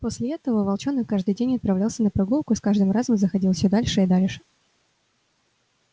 после этого волчонок каждый день отправлялся на прогулку и с каждым разом заходил всё дальше и дальше